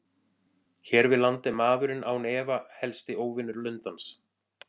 Hér við land er maðurinn án efa helsti óvinur lundans.